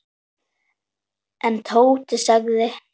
En Tóti þagði.